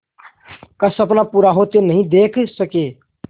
का सपना पूरा होते नहीं देख सके